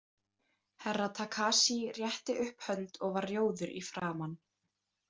Herra Takashi rétti upp hönd og var rjóður í framan.